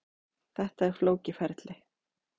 Þetta er flókið ferli.